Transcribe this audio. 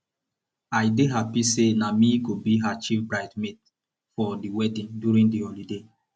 i dey happy say na me go be her chief brides maid for the wedding during the holiday